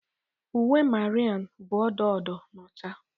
Uwe Mariam bụ odo odo na ọcha.